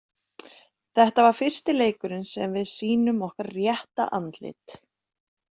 Þetta var fyrsti leikurinn sem við sýnum okkar rétta andlit.